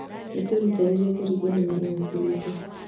Nĩtwerutanĩirie kũringana na ũhooto witũ